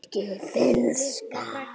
rikki- finnska